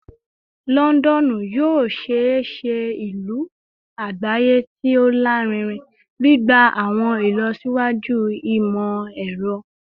Lọndọnu yoo ṣee ṣe ilu agbaye ti o larinrin, gbigba awọn ilọsiwaju imọ-ẹrọ